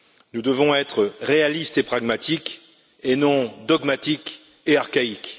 Nous devons être réalistes et pragmatiques, et non dogmatiques et archaïques.